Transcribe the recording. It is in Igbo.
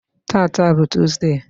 tata bụ tọzụdee.